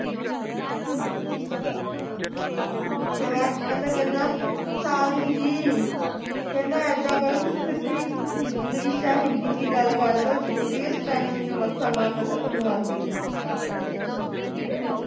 ਫਿਰ ਬਾਅਦ ਵਿਚ ਕਹਿੰਦਾ ਕਹਿੰਦਾ ਸਾਲੀ ਜੀ ਕਹਿੰਦਾ ਇੱਦਾਂ ਕਰੋ ਤੁਸੀ ਸਿੱਧੀ english ਜਾਂ ਹਿੰਦੀ ਵਿਚ ਗੱਲ ਕਰਲੋ ਜਰੂਰੀ ਐ Spanish ਵਿਚ ਮੱਥਾ ਮਾਰਨਾ ਜੇ ਤੁਹਾਨੂੰ ਆਂਦੀ ਨੀ।